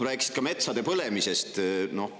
Rääkisid ka metsade põlemisest.